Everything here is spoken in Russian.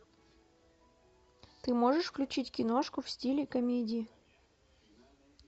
ты можешь включить киношку в стиле комедии